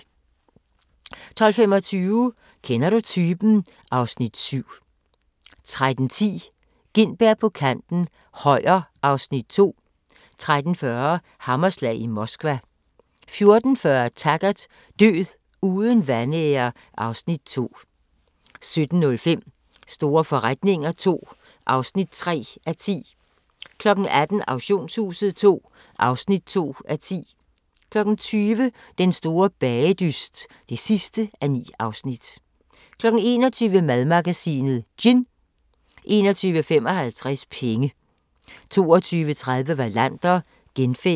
12:25: Kender du typen? (Afs. 7) 13:10: Gintberg på kanten - Højer (Afs. 2) 13:40: Hammerslag i Moskva 14:40: Taggart: Død uden vanære (Afs. 2) 17:05: Store forretninger III (3:10) 18:00: Auktionshuset II (2:10) 20:00: Den store bagedyst (9:9) 21:00: Madmagasinet: Gin 21:55: Penge 22:30: Wallander: Genfærdet